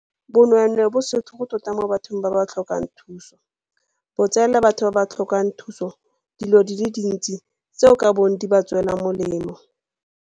Bonweenwee bo setlhogo tota mo bathong ba ba tlhokang thuso, bo tseela batho ba ba tlhokang thuso dilo tse dintsi tseo di ka bong di ba tswetse molemo.